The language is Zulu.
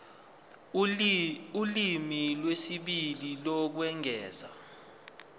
ulimi lwesibili lokwengeza